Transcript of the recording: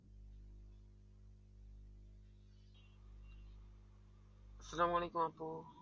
সালামালাইকুম আপু।